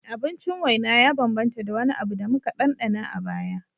Abincin waina ya bambanta da wani abu da muka ɗanɗana a baya